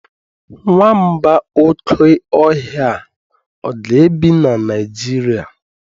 Nwamba oke ohia a ga-ebi na Nigeria?